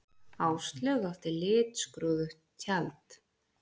Áslaug átti litskrúðugt tjald